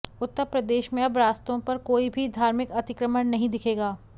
उत्तर प्रदेश में अब रास्तों पर कोई भी धार्मिक अतिक्रमण नहीं दिखेगा